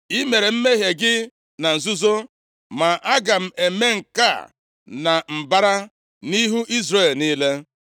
I mere mmehie gị na nzuzo, ma aga m eme nke a na mbara, nʼihu Izrel niile.’ ”